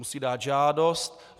Musí dát žádost.